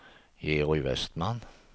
Georg Westman